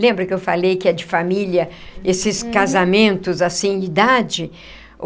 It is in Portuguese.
Lembra que eu falei que é de família, esses casamentos assim, idade?